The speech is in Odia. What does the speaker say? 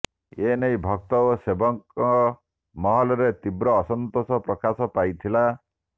ଏ ନେଇ ଭକ୍ତ ଓ ସେବକ ମହଲରେ ତୀବ୍ର ଅସନ୍ତୋଷ ପ୍ରକାଶ ପାଇଥିଲା